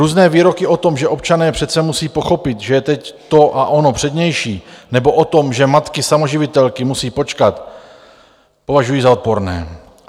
Různé výroky o tom, že občané přece musí pochopit, že je teď to a ono přednější, nebo o tom, že matky samoživitelky musí počkat, považuji za odporné.